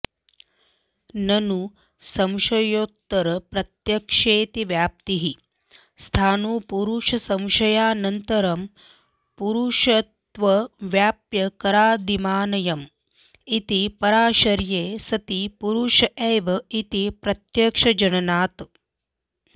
ननु संशयोत्तरप्रत्यक्षेऽतिव्याप्तिः स्थाणुपुरूषसंशयानन्तरं पुरूषत्वव्याप्यकरादिमानयम् इति परामर्शे सति पुरूष एव इति प्रत्यक्षजननात्